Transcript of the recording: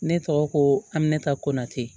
Ne tɔgɔ ko ami ne ta koate